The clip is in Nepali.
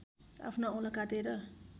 आफ्नो औँला काटेर